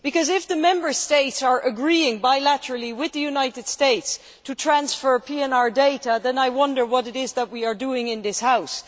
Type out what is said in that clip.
If the Member States are agreeing bilaterally with the United States to transfer PNR data, then I wonder what we are doing in this House.